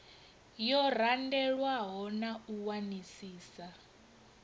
yo randelwaho na u wanisisa